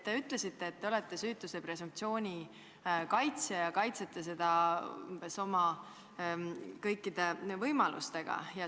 Te ütlesite, et te olete süütuse presumptsiooni kaitsja ja kaitsete seda kõiki võimalusi kasutades.